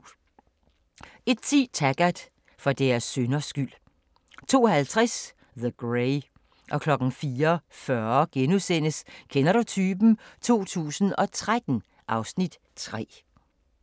01:10: Taggart: For deres synders skyld 02:50: The Grey 04:40: Kender du typen? 2013 (Afs. 3)*